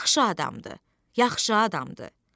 Yaxşı adamdır, yaxşı adamdır.